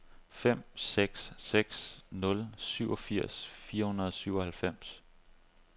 fem seks seks nul syvogfirs fire hundrede og syvoghalvfems